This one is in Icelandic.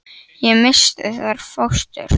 Ég missti þar fóstur.